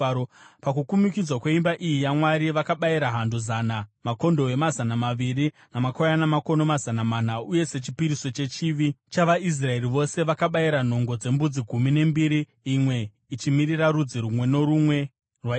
Pakukumikidzwa kweimba iyi yaMwari vakabayira hando zana, makondobwe mazana maviri, namakwayana makono mazana mana uye sechipiriso chechivi chavaIsraeri vose, vakabayira nhongo dzembudzi gumi nembiri, imwe ichimirira rudzi rumwe norumwe rwaIsraeri.